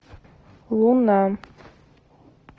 луна